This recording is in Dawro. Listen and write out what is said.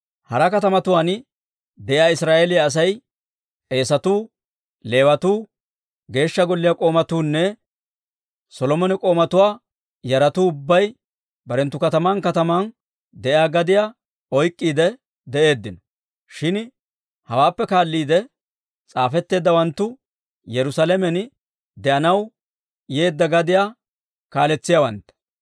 Hara katamatuwaan de'iyaa Israa'eeliyaa asay, k'eesatuu, Leewatuu, Geeshsha Golliyaa k'oomatuunne Solomone k'oomatuwaa yaratuu ubbay barenttu kataman kataman de'iyaa gadiyaa oyk'k'iide de'eeddino. Shin hawaappe kaalliide s'aafetteeddawanttu, Yerusaalamen de'anaw yeedda gadiyaa kaaletsiyaawantta.